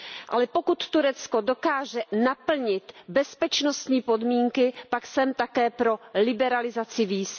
Ale pokud Turecko dokáže naplnit bezpečnostní podmínky, pak jsem také pro liberalizaci víz.